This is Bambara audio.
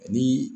Ani